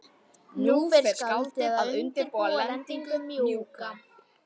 Nú fer skáldið að undirbúa lendingu- mjúka.